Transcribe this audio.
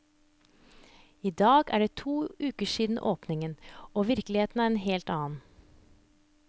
I dag er det to uker siden åpning, og virkeligheten en helt annen.